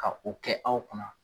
Ka o kɛ aw kunna.